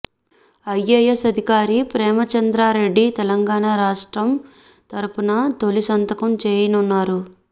IAS అధికారి ప్రేమ్చంద్రారెడ్డి తెలంగాణ రాష్ట్రం తరఫున తొలి సంతకం చేయనున్నారు